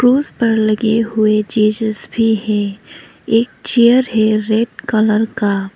उस पर लगे हुए जीसस भी है एक चेयर है रेड कलर का।